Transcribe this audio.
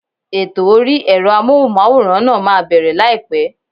Ètò orí ẹ̀rọ Amóhùnmáwòrán náà máa bẹ̀rẹ̀ láìpẹ́.